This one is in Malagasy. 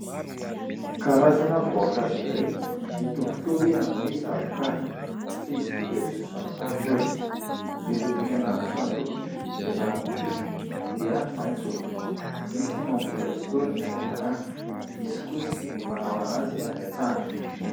Karazana voankazo iray mitovitovy amin'ny zavoka. Fa izy ity dia tsy zavoka akory, miloko mena antitra ny lokony, ny raviny kosa dia maitso. Misy ny mamboly azy itony any an-tanàna, misy kosa ny manao azy any an-tsaha.